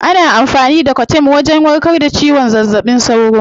Ana amfani da coartem wajen warkar da zazzaɓin cizon sauro.